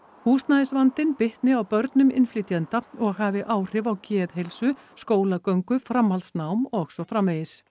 húsnæðisvandinn bitni á börnum innflytjenda og hafi áhrif á geðheilsu skólagöngu framhaldsnám og svo framvegis